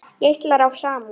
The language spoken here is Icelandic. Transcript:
Geislar af samúð.